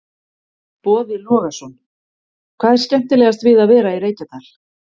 Boði Logason: Hvað er skemmtilegast við að vera í Reykjadal?